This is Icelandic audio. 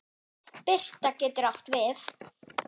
Birta getur átt við